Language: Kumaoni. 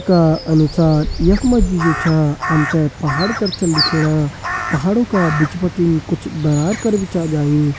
का अनुसार यख मजी जु छा हमते पहाड़ कर छन दिखेणा। पहाड़ु का बिच बटिन कुछ दरार कर भी छ जाईं।